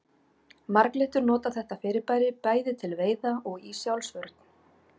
Marglyttur nota þetta fyrirbæri bæði til veiða og í sjálfsvörn.